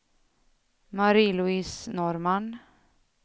Marie-Louise Norrman